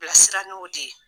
bɛ sira n'o de ye.